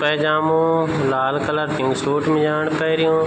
पैजामू लाल कलर की सूट मिजाण पैर्यूं।